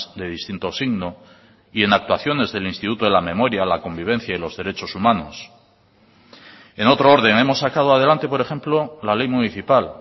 de distinto signo y en actuaciones del instituto de la memoria la convivencia y los derechos humanos en otro orden hemos sacado adelante por ejemplo la ley municipal